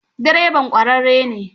Direban ƙwararre ne?